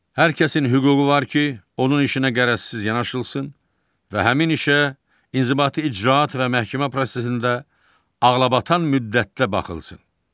Hər kəsin hüququ var ki, onun işinə qərəzsiz yanaşılsın və həmin işə inzibati icraat və məhkəmə prosesində ağlabatan müddətdə baxılsın.